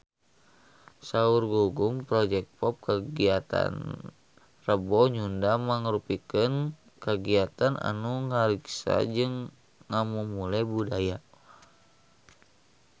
Saur Gugum Project Pop kagiatan Rebo Nyunda mangrupikeun kagiatan anu ngariksa jeung ngamumule budaya Sunda